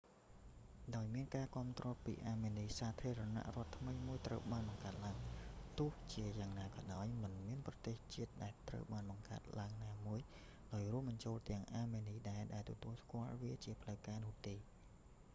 ដោយមានការគាំទ្រពីអាមេនី សាធារណរដ្ឋថ្មីមួយត្រូវបានបង្កើតឡើង ទោះជាយ៉ាងណាក៏ដោយ មិនមានប្រទេសជាតិដែលត្រូវបានបង្កើតឡើងណាមួយ ដោយរួមបញ្ចូលទាំងអាមេនីដែរ ដែលទទួលស្គាល់វាជាផ្លូវការនោះទេ